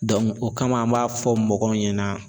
o kama an b'a fɔ mɔgɔw ɲɛna.